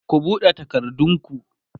ku buɗe takardun ku!